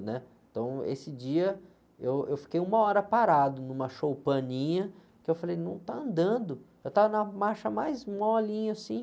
Então, esse dia eu, eu fiquei uma hora parado numa choupaninha, que eu falei, não está andando, eu estava na marcha mais molinha assim,